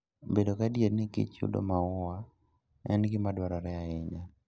Bedo gadier ni kich yudo maua en gima dwarore ahinya.